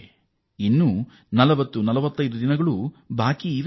ಇದಕ್ಕಾಗಿ ಇನ್ನೂ 4045ದಿನ ಬಾಕಿ ಇದೆ